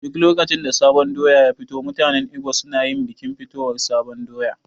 Duk lokacin da sabon doya ya fito mutanen Igbo su nayin bikin fitowar sabon doya